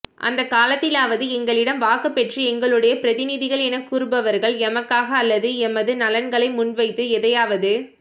அந்தக்கால த்திலாவது எங்களிடம் வாக்குப் பெற்று எங்களுடைய பிரதிநிதிகள் என கூறுபவா்கள் எமக்காக அல்லது எமது நலன்களை முன்வைத்து எதையாவது